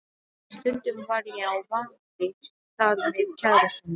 Stundum var ég á vappi þar með kærastanum.